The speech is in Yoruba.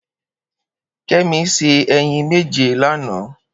Kemi sé èyín méjé lánã